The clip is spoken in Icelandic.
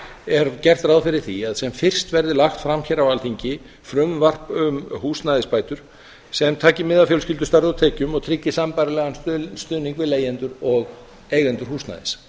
er gert ráð fyrir því að sem fyrst verði lagt fram hér á alþingi frumvarp um húsnæðisbætur sem taki mið af fjölskyldustærð og tekjum og tryggi sambærilegan stuðning við leigjendur og eigendur húsnæðis